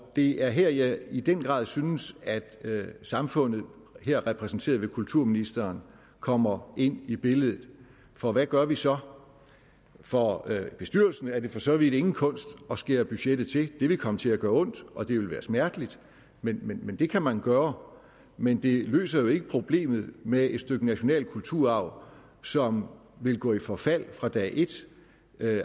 det er her jeg i den grad synes at samfundet her repræsenteret ved kulturministeren kommer ind i billedet for hvad gør vi så for for bestyrelsen er det for så vidt ingen kunst at skære budgettet til det vil komme til at gøre ondt og det vil være smerteligt men men det kan man gøre men det løser jo ikke problemet med et stykke nationale kulturarv som vil gå i forfald fra dag et